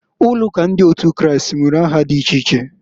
Ụlọụka ndị otu Kristi nwere aha di iche iche.